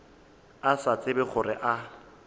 a sa tsebe gore a